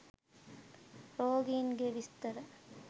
රෝගීන්ගේ විස්තර